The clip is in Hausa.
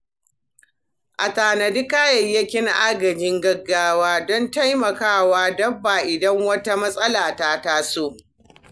A tanadi kayayyakin agajin gaggawa don taimakawa dabba idan wata matsala ta taso.